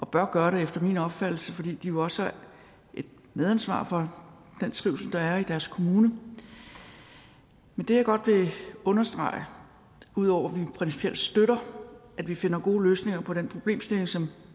bør gøre det efter min opfattelse fordi de jo også har et medansvar for den trivsel der er i deres kommune men det jeg godt vil understrege udover at vi principielt støtter at vi finder gode løsninger på den problemstilling som